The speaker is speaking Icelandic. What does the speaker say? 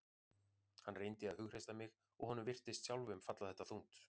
Hann reyndi að hughreysta mig og honum virtist sjálfum falla þetta þungt.